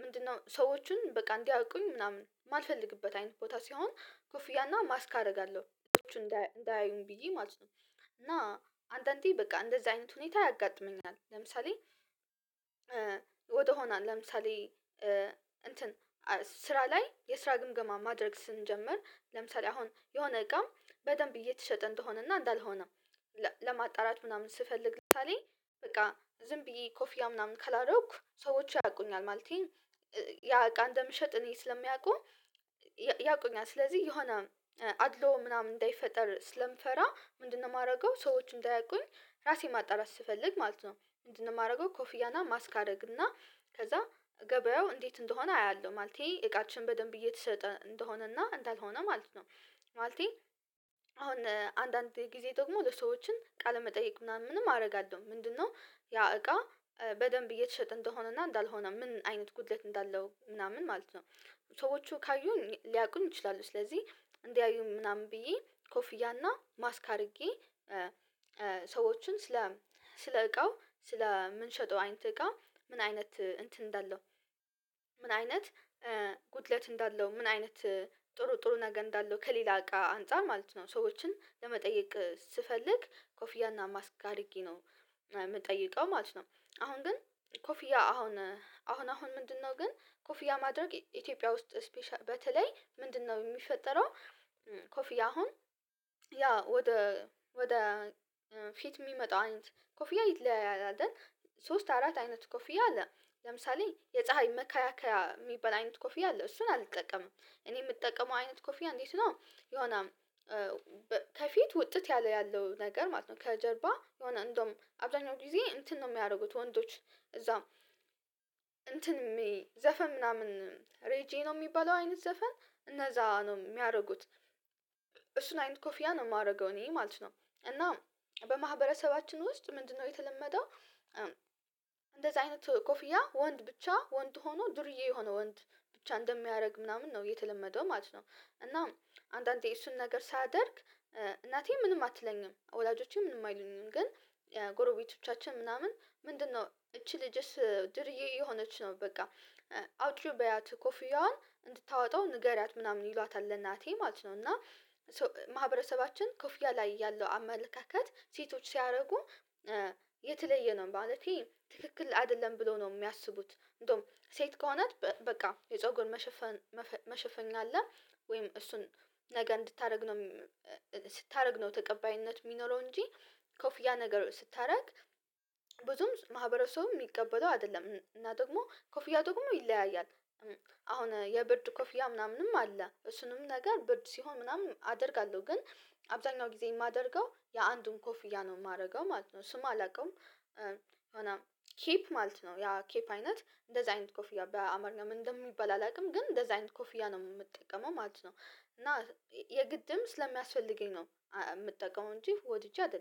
ምንድነው ሰዎችን በቃ እንዲያውቁኝ ምናምን የማልፈልግበት አይነት ቦታ ሲሆን ኮፊያና ማስክ አደርጋለሁ። እንዳያዩኝ ብዬ ማለት ነው እና አንዳንዴ በቃ እንደዚህ አይነት ሁኔታ ያጋጥመኛል። ለምሳሌ ወደሆነ ለምሳሌ እንትን ስራ ላይ የስራ ግምገማ ማድረግ ስንጀምር ለምሳሌ አሁን የሆነ እቃ በደንብ እየተሸጠ እንደሆነና እንዳልሆነ ለማጣራት ምናምን ስፈልግ ምሳሌ በቃ ዝም ብዬ ኮፊያ ምናምን ካላረኩ ሰዎች ያውቁኛል ማለቴ ያ እቃ እንደምሸጥ እኔ ስለሚያውቁ ያውቁኛል ስለዚህ የሆነ አድልዎ ምናምን እንዳይፈጠር ስለምፈራ ምንድነው የማደርገው ሰዎችን እንዳያውቁኝ ራሴን ማጣራት ስፈልግ ማለት ነው ምንድነው የማደርገው ኮፍያና ማስክ አደርግ እና ከዛ ገበያው እንዴት እንደሆነ አያለሁ። ማለቴ እቃችን በደንብ እየተሸጠ እንደሆነና እንዳልሆነ ማለት ነው። ማለቴ አሁን አንዳንድ ጊዜ ደግሞ ለሰዎችን ቃለመጠየቅ ምናምንም አደርጋለሁ ምንድነው ያ እቃ በደንብ እየተሸጠ እንደሆነ እንዳልሆነ ምን አይነት ጉድለት እንዳለው ምናምን ማለት ነው። ሰዎቹ ካዩኝ ሊያውቁኝ ይችላሉ ስለዚህ እንዲያዩም ምናምን ብዬ ኮፍያና ማስክ አድርጌ ሰዎችን ስለ እቃው፣ ስለ የምንሸጠው አይነት እቃ ምን አይነት እንትን እንዳለው ምን አይነት ጉድለት እንዳለው ምን አይነት ጥሩ ጥሩ ነገር እንዳለው ከሌላ እቃ አንፃር ማለት ነው ሰዎችን ለመጠየቅ ስፈልግ ኮፊያና ማስክ አድርጌ ነው የምጠይቀው ማለት ነው። አሁን ግን ኮፊያ አሁን አሁን አሁን ምንድነው ግን ኮፊያ ማድረግ ኢትዮጵያ ውስጥ በተለይ ምንድነው የሚፈጠረው ኮፊያ አሁን ያ ወደ ወደ ፊት የሚመጣው አይንት ኮፊያ ይለያያል አይደል? ሶስት አራት አይነት ኮፍያ አለ። ለምሳሌ የፀሀይ መካከያ የሚባል አይነት ኮፍያ አለ። እሱን አልጠቀምም። እኔ የምጠቀመው አይነት ኮፊያ እንዴት ነው የሆነ ከፊት ውጥት ያለ ያለው ነገር ማለት ነው ከጀርባ የሆነ እንደውም አብዛኛው ጊዜ እንትን ነው የሚያደርጉት ወንዶች እዛው እንትን ዘፈን ምናምን ሬጄ ነው የሚባለው አይነት ዘፈን እነዛ ነው የሚያደርጉት እሱን አይነት ኮፊያ ነው የማደርገው እኔ ማለት ነው እና በማህበረሰባችን ውስጥ ምንድነው የተለመደው እንደዚህ አይነት ኮፍያ ወንድ ብቻ ወንድ ሆኖ ዱርዬ የሆነው ወንድ ብቻ እንደሚያደርግ ምናምን ነው የተለመደው ማለት ነው። እና አንዳንዴ እሱን ነገር ሳደርግ እናቴ ምንም አትለኝም ወላጆቼ ምንም አይለኝም ግን ጎረቤቶቻችን ምናምን ምንድነው እቺ ልጅስ ድርዬ እየሆነች ነው በቃ፣ አውጭው በያት ኮፍያዋን እንድታወጣው ንገሪያት ምናምን ይሏታል ለእናቴ ማለት ነው እና ማህበረሰባችን ኮፍያ ላይ ያለው አመለካከት ሴቶች ሲያደርጉ የተለየ ነው ማለቴ ትክክል አይደለም ብለው ነው የሚያስቡት። እንደውም ሴት ከሆነ በቃ የጾጉን መሸፈን መሸፈኛ አለ ወይም እሱን ነገ እንድታደርግ ነው ስታደርግ ነው ተቀባይነት የሚኖረው እንጂ ኮፍያ ነገር ስታደርግ ብዙም ማህበረሰቡም የሚቀበለው አይደለም። እና ደግሞ ኮፍያ ደግሞ ይለያያል። አሁን የብርድ ኮፍያ ምናምንም አለ። እሱንም ነገር ብርድ ምናምን አደርጋለሁ። ግን አብዛኛው ጊዜ የማደርገው የአንዱም ኮፍያ ነው የማደርገው ማለት ነው። ስሙ አላውቀውም። የሆነ ኬፕ ማለት ነው ያ ኬፕ አይነት እንደዚህ አይነት ኮፍያ በአማርኛ ምን እንደሚባል አላውቅም ግን እንደዛ አይነት ኮፊያ ነው የምጠቀመው ማለት ነው። እና የግድም ስለሚያስፈልገኝ ነው የምጠቀመው እንጂ ወድጄ አይደለም